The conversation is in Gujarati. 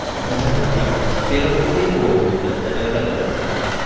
વધારે થઈ ગયા છે ને પેલા બધુ ભેગું આવતું ને અત્યારે અલગ અલગ થઈ ગયા.